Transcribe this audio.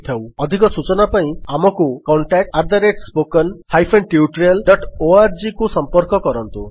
ଅଧିକ ସୂଚନା ପାଇଁ ଆମକୁ contactspoken tutorialorgରେ ସମ୍ପର୍କ କରନ୍ତୁ